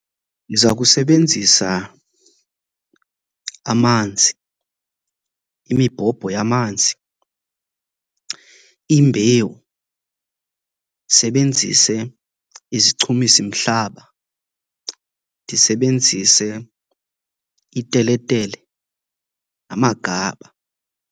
Ndiza kusebenzisa amanzi, imibhobho yamanzi, iimbewu, ndisebenzise izichumisimhlaba, ndisebenzise ipelepele namagaba.